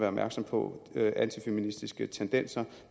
opmærksom på antifeministiske tendenser